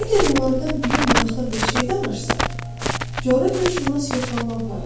Əgər onlardan biri maraqlı bir şey danışsa, coğrafiyaşünas yoxlama aparır.